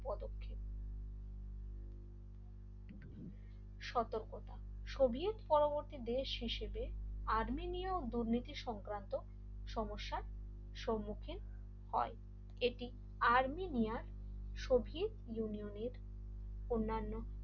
সর্তকতা সোভিয়েত পরবর্তী দেশ হিসেবে আর্মেনীয় ও দুর্নীতি সংক্রান্ত সমস্যার সম্মুখীন হয় এটি আর্মেনিয়া ছড়িয়ে ইউনিয়নের অন্যান্য